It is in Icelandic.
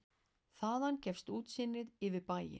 Þaðan gefst útsýni yfir bæinn.